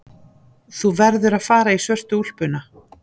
Þú verður að fara í svörtu úlpuna.